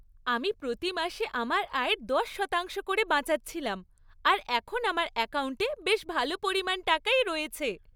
আমি প্রতি মাসে আমার আয়ের দশ শতাংশ করে বাঁচাচ্ছিলাম আর এখন আমার অ্যাকাউন্টে বেশ ভাল পরিমাণ টাকাই রয়েছে।